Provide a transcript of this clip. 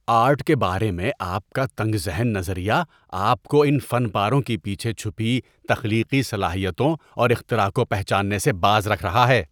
Art کے بارے میں آپ کا تنگ ذہن نظریہ آپ کو ان فن پاروں کے پیچھے چھپی تخلیقی صلاحیتوں اور اختراع کو پہچاننے سے باز رکھ رہا ہے۔